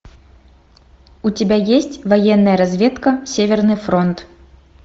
у тебя есть военная разведка северный фронт